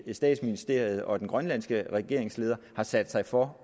statsministeren og den grønlandske regeringsleder har sat sig for